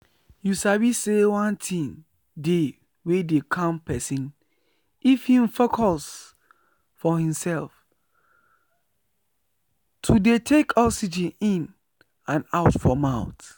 you sabi say one thing dey wey dey calm person if hin focus for hin self to dey take oxygen in and out for mouth.